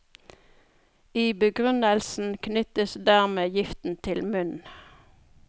I begrunnelsen knyttes dermed giften til munnen.